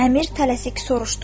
Əmir tələsik soruşdu.